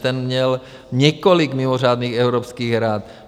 Ten měl několik mimořádných Evropských rad.